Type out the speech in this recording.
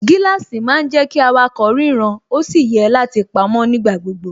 Gíláàsì má ń jẹ́ kí awakọ̀ ríran ó sì yẹ láti pamó nígbà gbogbo